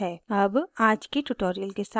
अब आज के tutorial के साथ शुरू करते हैं